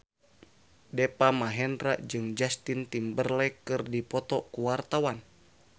Deva Mahendra jeung Justin Timberlake keur dipoto ku wartawan